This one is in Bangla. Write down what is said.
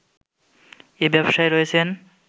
এই ব্যবসায় রয়েছেন